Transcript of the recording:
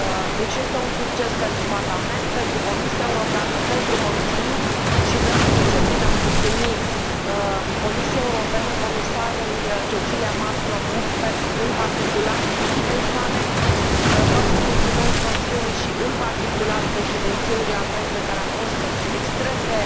Deci este un succes pentru Parlament, pentru Comisia Europeană, pentru Consiliu și vreau să încep prin a mulțumi Comisiei Europene, Comisarei Cecilia Malmström în particular și echipei sale, vreau să mulțumesc Consiliului și, în particular, Președinției irlandeze, care a fost extrem de